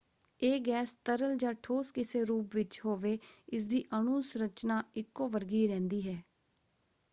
ਇਹ ਗੈਸ ਤਰਲ ਜਾਂ ਠੋਸ ਕਿਸੇ ਰੂਪ ਵਿੱਚ ਹੋਵੇ ਇਸਦੀ ਅਣੂ ਸੰਰਚਨਾ ਇੱਕੋ ਵਰਗੀ ਰਹਿੰਦੀ ਹੈ।